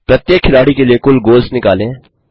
प्रत्येक खिलाड़ी के लिए कुल गोल्स निकालें